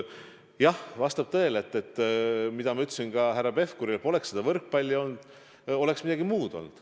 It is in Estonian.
Jah, vastab tõele, nagu ma ütlesin ka härra Pevkurile: kui poleks seda võrkpallivõistlust olnud, oleks midagi muud olnud.